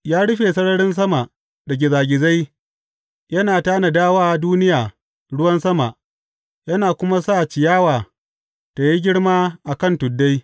Ya rufe sararin sama da gizagizai; yana tanada wa duniya ruwan sama yana kuma sa ciyawa tă yi girma a kan tuddai.